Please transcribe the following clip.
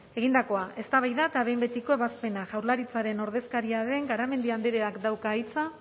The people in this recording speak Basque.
egindakoa eztabaida eta behin betiko ebazpena jaurlaritzaren ordezkaria den garamendi andreak dauka hitza